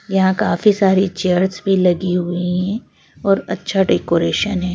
यहाँ काफी सारी चेयर्स भी लगी हुई हैं और अच्छा डेकोरेशन है।